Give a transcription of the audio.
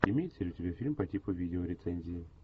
имеется ли у тебя фильм по типу видеорецензии